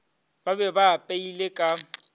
ba be ba apeile ka